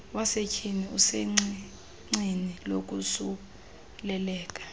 wasetyhini usecicini lokosuleleka